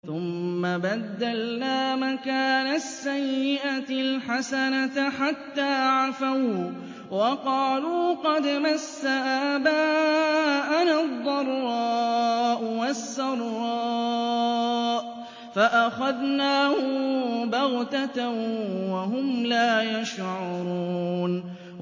ثُمَّ بَدَّلْنَا مَكَانَ السَّيِّئَةِ الْحَسَنَةَ حَتَّىٰ عَفَوا وَّقَالُوا قَدْ مَسَّ آبَاءَنَا الضَّرَّاءُ وَالسَّرَّاءُ فَأَخَذْنَاهُم بَغْتَةً وَهُمْ لَا يَشْعُرُونَ